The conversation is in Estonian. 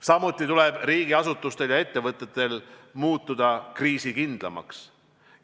Samuti tuleb riigiasutustel ja ettevõttetel muutuda kriisikindlamaks.